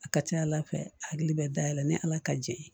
A ka ca ala fɛ a hakili bɛ dayɛlɛ ni ala ka jɛ ye